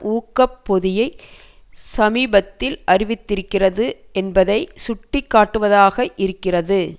ஊக்க பொதியை சமீபத்தில் அறிவித்திருக்கிறது என்பதை சுட்டி காட்டுவதாக இருக்கிறது